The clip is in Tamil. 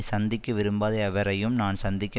சந்திக்க விரும்பாத எவரையும் நான் சந்திக்க